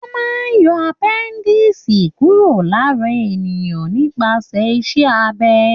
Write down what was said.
Wọ́n máa ń yọ appendicitis kúrò lára ènìyàn nípasẹ̀ iṣẹ́ abẹ.